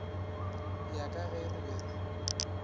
ya ka ge re be